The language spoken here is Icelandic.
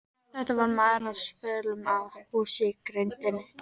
Þetta var maður á svölum á húsi í grenndinni.